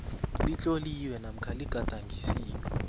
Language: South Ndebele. litloliwe namkha ligadangisiwe